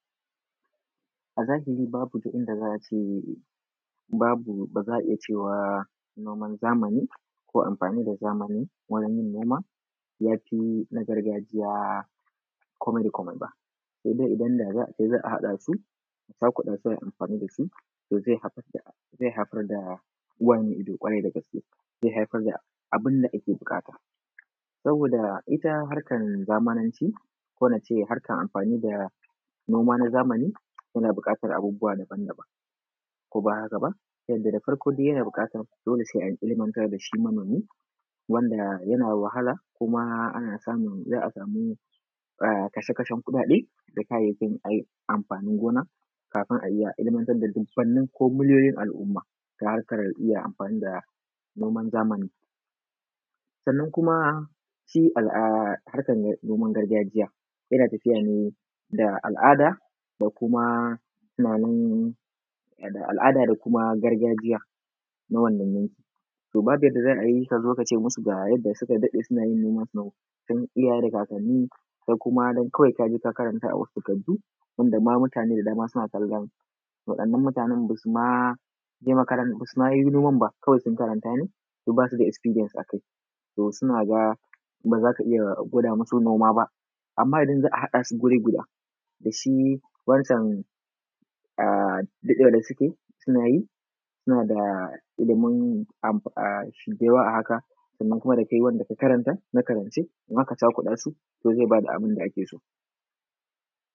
A zahiri babu ta inda za a ce babu, ba za a iya cewa noman zamani ko amfani da zamani wurin yin noma ya fi na gargajiya komai da komai ba, sai dai idan da za a ce za a haɗa su, za ku ɗan sauya amfani da su zai haifad da, zai haifar da uwa mai ido ƙwarai da gaske, zai haifar da abin da ake buƙata. Saboda ita harkan zamananci ko ince harkan amfani da noma na zamani yana buƙatar abubuwa daban-daban, ko ba aka ba, yanda da farko dai yana buƙatar dole sai anyi ilmanga da shi manomi, wanda yana wahala, kuma ana samun, za a samu kasha-kashen kuɗaɗe da kayyayakin amfani gona, kafin a iya ilmantar da dubbannin ko miliyoyin al’umma ta harkar iya amfani da noman zamani. Sannan kuma shi harkar noman gargajiya, yana tafiya ne da al’ada da kuma tunanin, da al’ada da kuma gargajiya na wannan yankin. To babu yanda za a yi ka zo ka ce masu ga yadda suka daɗe suna yin nomansu na tun iyaye da kakanni, kai kuma don kawai ka je ka karanta a wasu takardu, wanda mutane da dama suna nan suna kallon waɗannan mutane basu ma yi noman ba, kawai sun karanta ne, to ba su da experience a kai, to su na ga ba zaka iya gwada masu noma ba,. To amma idan za a haɗa su wuri guda, da shi wancan daɗewa da suke suna yi, suna da ilimin da yawa a haka, sannan kuma da kai wanda ka karanta na karance, in aka cakuɗa su, to zai ba da abin da ake so.